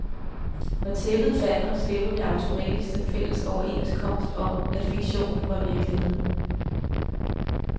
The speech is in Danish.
Når tæppet falder, slipper vi automatisk den fælles overenskomst om, at fiktionen var virkelighed.